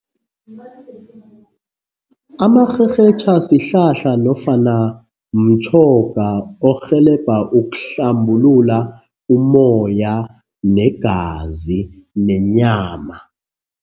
Amarherhetjha sihlahla nofana mtjhoga orhelebha ukuhlambulula umoya, negazi, nenyama.